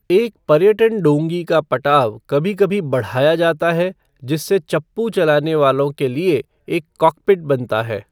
एक पर्यटन डोंगी का पटाव कभी कभी बढ़ाया जाता है जिससे चप्पू चलाने वालों के लिए एक 'कॉकपिट' बनता है।